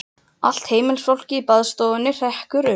Allt heimilisfólkið í baðstofunni hrekkur upp.